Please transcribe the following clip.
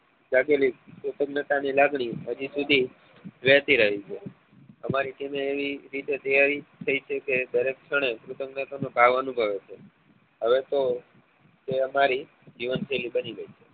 જાગેલી પોતપોતાની લાગણીઓ વેચી રહી છે અમારી team એવી રીતે તૈયારી થઇ છે કે દરેક ક્ષણે હવે તો તે અમારી જીવન શૈલી બની ગઈ છે